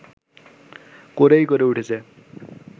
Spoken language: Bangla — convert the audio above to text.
করেই গড়ে উঠেছে